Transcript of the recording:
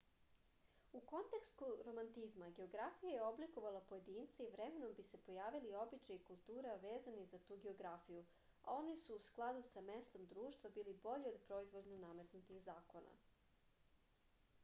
u kontekstu romantizma geografija je oblikovala pojedince i vremenom bi se pojavili običaji i kultura vezani za tu geografiju a oni su u skladu sa mestom društva bili bolji od proizvoljno nametnutih zakona